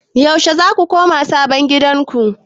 Yaushe za ku koma sabon gidanku?